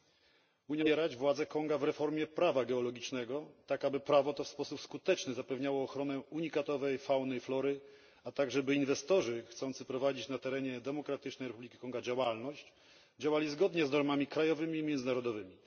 Unia Europejska powinna wspierać władze Konga w reformie prawa geologicznego, tak aby prawo to w sposób skuteczny zapewniało ochronę unikatowej fauny i flory, a także by inwestorzy chcący prowadzić na terenie Demokratycznej Republiki Konga działalność działali zgodnie z normami krajowymi i międzynarodowymi.